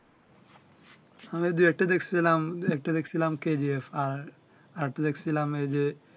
আমি দুই একটা দেখছিলাম একটা দেখছিলাম KGF আর আরেকটা দেখছিলাম এই যে